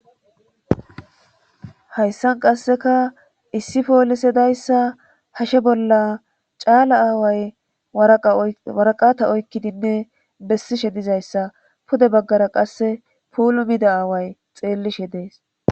hayssan qasseka issi poolisedayssa hashe bolla caala aaway waraqata oykkidinne bessishe dizayssa pude baggara qasse puulumida aaway xeellishe dees